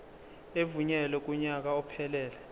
evunyelwe kunyaka ophelele